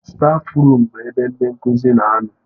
Stáfruum bụ ebe ndị nkuzi na-anọ.